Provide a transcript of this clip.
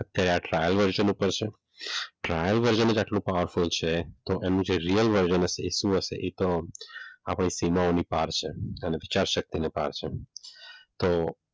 અત્યારે આ trial version ઉપર છે ટ્રાયલ વર્ઝન જ આટલો પાવરફુલ છે તો એનું જે રીયલ વર્ઝન છે એ શું હશે એ તો આપણે સીમાઓની પાર છે વિચાર શક્તિને પાર છે તો.